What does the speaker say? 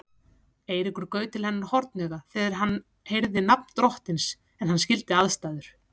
Eiríkur gaut til hennar hornauga þegar hann heyrði nafn drottins en hann skildi aðstæður.